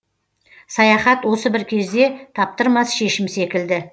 саяхат осы бір кезде таптырмас шешім секілді